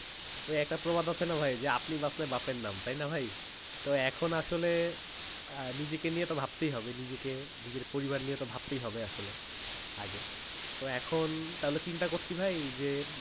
ওই একটা প্রবাদ আছে না ভাই আপনি বাঁচলে বাপের নাম তাইনা ভাই এখন আসলে নিজেকে নিয়েই তো ভাবতেই হবে নিজেকে পরিবার নিয়ে তো ভাবতেই হবে আসলে তো এখন চিন্তা করছি ভাই যে